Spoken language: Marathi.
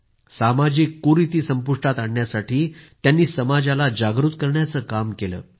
त्यांनी सामाजिक कुरीती संपुष्टात आणण्यासाठी समाजाला जागृत करण्याचं काम केलं